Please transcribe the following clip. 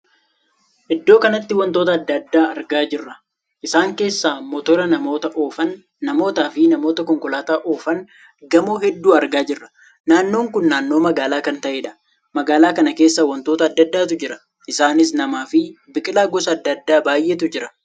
Iddoo kanatti wantoota addaa addaa arga jirra. isaan keessaa mooteraa namoota oofan, namootaa fi namoota konkolaataa oofan, gamoo hedduu argaa jirra. naannoon kun naannoo magaalaa kan taheedha. magaalaa kana keessa wantoota addaa addaatu jira. isaanis namaa fi biqilaa gosa addaa addaa baay'eetu jira.